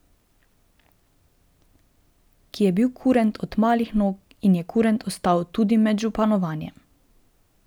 Ki je bil kurent od malih nog in je kurent ostal tudi med županovanjem.